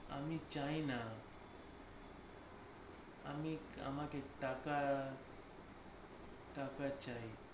আমি চাইনা আমি আমাকে টাকা টাকা চাই